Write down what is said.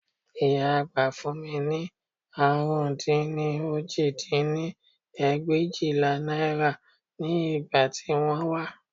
Ìyá àgbà fún mi ní àrún dín ní òjì dín ní ẹgbẹ̀éjìlá náírà ní ìgbà tí wọ́n wá